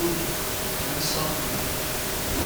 ọ̀bị na nsọ̀pụrụ.